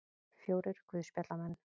Fjórir guðspjallamenn.